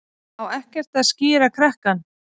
Á ekkert að skíra krakkann?